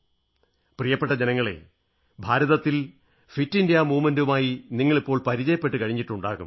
പ്രിയപ്പെട്ട ജനങ്ങളേ ഭാരതത്തിൽ ഫിറ്റ് ഇന്ത്യാ പ്രസാഥാനവുമായി നിങ്ങളിപ്പോൾ പരിചയപ്പെട്ടു കഴിഞ്ഞിട്ടുണ്ടാകും